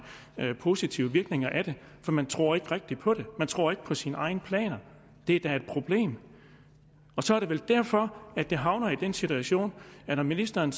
positive virkninger af det for man tror ikke rigtig på det man tror ikke på sine egne planer og det er da et problem så er det vel derfor at man havner i den situation når ministeren